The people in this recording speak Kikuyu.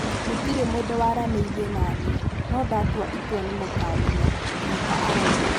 "Gũtirĩ mũndũ waranĩirie naniĩ, no-ndatua itwa nĩmũkũmenya", Nyota arauga.